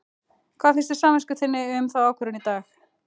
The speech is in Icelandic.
Hvað finnst samvisku þinni um þá ákvörðun í dag?